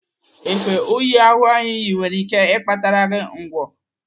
Efe únyí ahụ iyi nwere ike ịkpatara gị ngwọ.